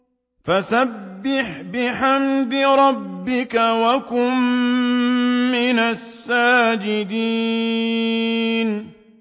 فَسَبِّحْ بِحَمْدِ رَبِّكَ وَكُن مِّنَ السَّاجِدِينَ